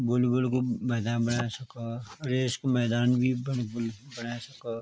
बोल बोल कु मैदान बण्या सखा अर रेस कू मैदान भी बणी बुनी बण्या सखा।